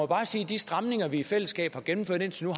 bare sige at de stramninger vi i fællesskab har gennemført indtil nu